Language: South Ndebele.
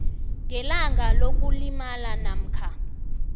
ngebanga lokulimala namkha